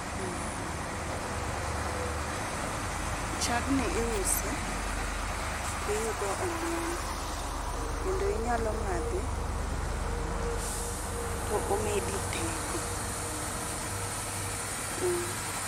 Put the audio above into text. Chagni iuse to iyudo omuom kendo inyalo madhe to omedi teko, mmh